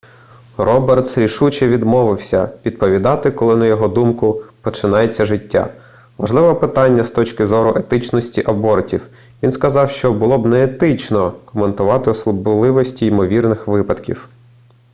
робертс рішуче відмовився відповідати коли на його думку починається життя важливе питання з точки зору етичності абортів він сказав що було б неетично коментувати особливості ймовірних випадків